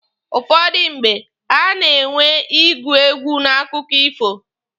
Ụfọdụ mgbe, a na-enwe ịgụ egwu n'akụkọ ifo.